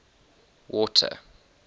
water